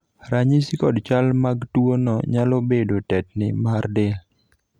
ranyisi kod chal mag tuo no nyalo bedo tetni mar del